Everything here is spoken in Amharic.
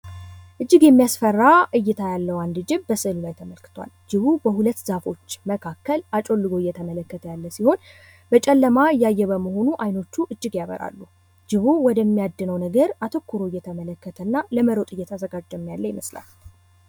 እጅግ የሚያስፈራ እይታ ያለው አንድ ጅብ በስእሉ ተመልክቷል። ጂቡ በሁለት ዛፎች መካከል አጮልኮ እየተመለከተ ያለ ሲሆን። በጨለማ እያየ በመሆኑ ዓይኖቹ እጅጋ ያበራሉ። ጅቡ ወደ ሚያድነው ነገር አተኩሮ እየተመለከተና ለመሮጥ እየተዘጋጀም ያለ ይመስላል።